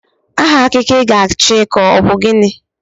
Aha akụkọ I ga-achọ ịkọ ọ bụ gịnị?